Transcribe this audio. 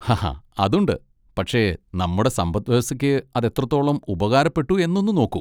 ഹഹ, അതുണ്ട്, പക്ഷേ നമ്മുടെ സമ്പത്ത് വ്യവസ്ഥയ്ക്ക് അതെത്രത്തോളം ഉപകാരപ്പെട്ടു എന്നൊന്ന് നോക്കൂ.